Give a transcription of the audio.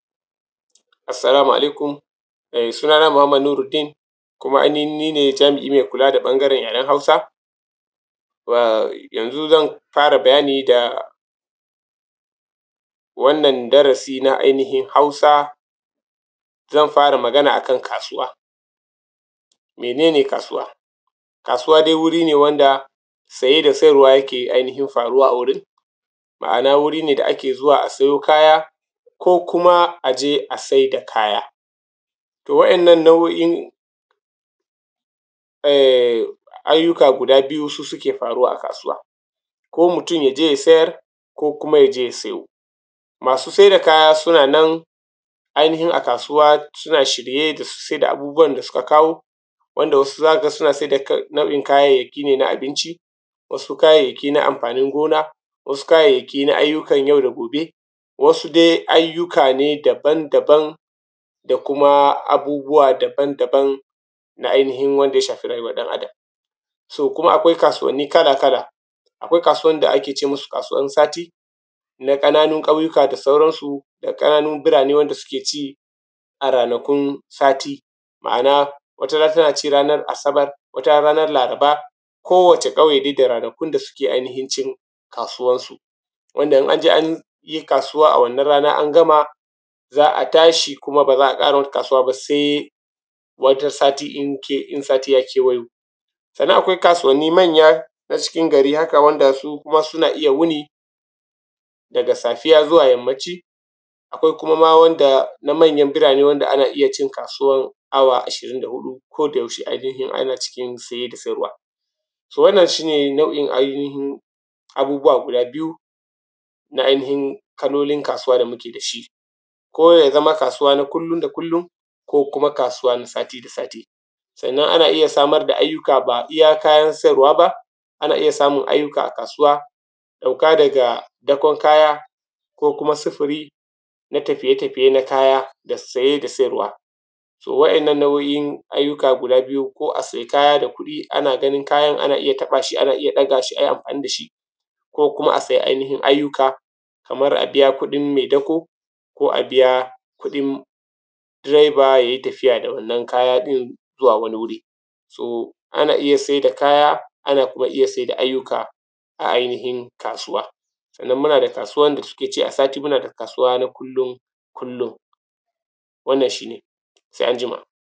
Assalamu alaikum. Sunana Muhammad Nuruddin, kuma ainihin ni ne jami’i mai kula da yaren Hausa. Yanzu zan fara bayani da wannan darasi na ainihin Hausa, zan fara magana a kan kasuwa. Mene ne kasuwa? Kasuwa dai wuri ne wanda saye da sayarwa yak ainihin faruwa a wurin. Ma’ana wuri ne da ake zuwa a siyo kaya ko kuma a je a sai da kaya. To waɗannan nau’o’in ayyuka guda biyu, su suke faruwa a kasuwa, ko mutum ya je je ya siyar ko kuma ya siyo. Masu sai da kaya suna nana ainihin a kasuwa suna shirye da su siyar da abubuwan da suka kawo, wanda wasu za ka ga suna sai da nau’in kayayyaki ne na abinci, wasu kayayyaki na amfanin gona, wasu kayayyaki na ayyukan yau da gobe, wasu dai ayyuka ne daban daban da kuma abubuwa daban daban na ainihin wanda ya shafi rayuwar ɗan Adam.. So kuma akwai kasuwanni kala-kala: akwai kasuwan da ake ce musu kasuwan sati, na ƙananun ƙauyuka da sauransu da ƙananun birane wanda suke ci, a ranakun sati, ama’ana, wata rana tana ci ranar Asabar, wata ranar Laraba, kowace ƙauye da ranakun da suke ainihin cin kasuwansu wanda in an je an yi kasuwa a wannan rana, an gama, za a tashi kuma ba za a ƙara wata kasuwa ba sai wata sati in wani sati ya kewayo. Sannan akwai kasuwanni manya na cikin gari haka, wanda su kuma suna iya wuni, daga Safiya zuwa yammaci. Akwai kuma ma wanda na manyan birane wanda ana iya cin kasuwan awa ashirin da huɗu, ko da yaushe ainihin ana cikin saye da sayarwa. So, wannan shi ne nau’in ainihin abubuwa guda biyu, na ainihin kalolin kasuwa da muke da shi. Ko ya zama kasuwa na kullum da kullum, ko kuma kasuwan sati duk sati. Sannan ana iya samar da ayyuka, ba iya kayan siyarwa ba, ana iya samun ayyuka a kasuwa, ɗauka daga dakon kaya ko kuma sufuri na tafiye tafiye na kaya da saye da sayarwa. So, waɗannan nau’o’in ayyuka guda biyu, ko a sayi kaya da kuɗi, ana ganin kayan, ana iya taɓa shi, ana iya ɗaga shi, ayi amfani da shi ko kuma a sayi ainihin ayyuka, kamar a biya kuɗin mai dako, ko a biya kuɗin direba, ya yi tafiya da wannan kaya ɗin zuwa wani wuri. To ana iya sai da kaya, ana kuma iya sai da ayyuka a ainihin kasuwa. Sannan muna da kasuwa da suke ci a sati, muna da kasuwa na kullum kullum. Wannan shi ne. sai an jima.